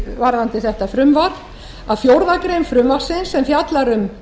varðandi þetta frumvarp að fjórðu grein frumvarpsins sem fjallar um